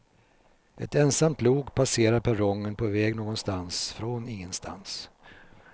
Ett ensamt lok passerar perrongen på väg någonstans från ingenstans.